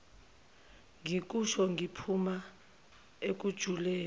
ngikusho kuphuma ekujuleni